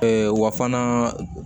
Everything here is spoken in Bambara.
wa fana